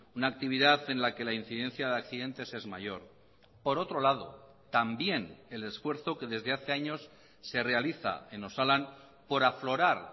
una actividad en la que la incidencia de accidentes es mayor por otro lado también el esfuerzo que desde hace años se realiza en osalan por aflorar